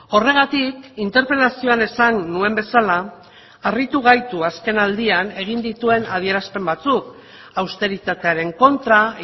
horregatik interpelazioan esan nuen bezala harritu gaitu azken aldian egin dituen adierazpen batzuk austeritatearen kontra